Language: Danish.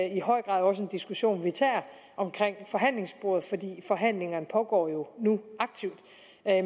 i høj grad også en diskussion vi tager omkring forhandlingsbordet for forhandlingerne pågår jo nu aktivt